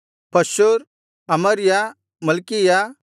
ಪಷ್ಹೂರ್ ಅಮರ್ಯ ಮಲ್ಕೀಯ